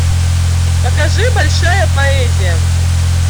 покажи большая поэзия